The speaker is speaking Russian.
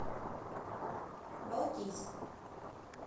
балтийск